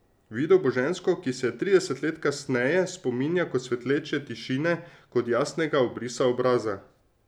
Videl bo žensko, ki se je trideset let kasneje spominja kot svetleče tišine, kot jasnega obrisa obraza.